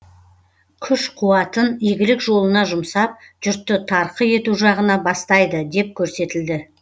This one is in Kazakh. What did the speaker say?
күш қуатын игілік жолына жұмсап жұртты тарқы ету жағына бастайды деп көрсетілді